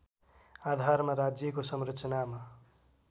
आधारमा राज्यको संरचनामा